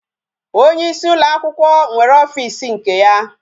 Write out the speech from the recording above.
Onyeisi ụlọakwụkwọ nwere ofisi nke ya